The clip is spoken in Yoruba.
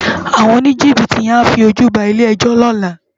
Áwòn ónijibiti yèn á fi ójú bá ilé èjò lòlá